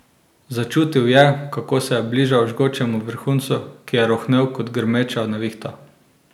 Začutil je, kako se je bližal žgočemu vrhuncu, ki je rohnel kot grmeča nevihta.